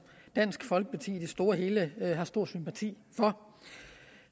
dansk folkeparti i det store og hele har stor sympati for